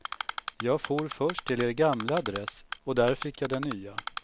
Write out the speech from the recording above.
Jag for först till er gamla adress och där fick jag den nya.